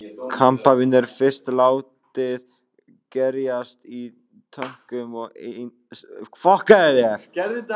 Kampavín er fyrst látið gerjast í tönkum og seinna stundum í tunnum.